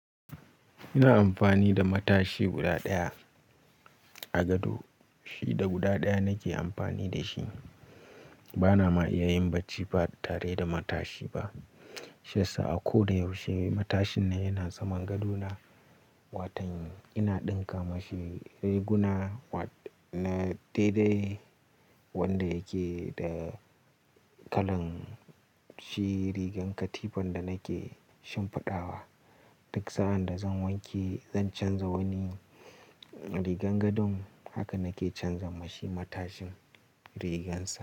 Ina amfani da matashi guda ɗaya a gado, shi da guda ɗaya nake amfani da shi. Bana ma iya yin bacci ba tare da matashi ba. Sha sa a ko da yaushe matashin nan yana saman gadona. Watann ina ɗinka mashi riguna na dai dai wanda yake da kalan shi rigar katifan da nake shimfiɗawa. Duk sa'ad da zan wanke zan canza wani rigar gadon haka nake canza mashi matashin rigar sa.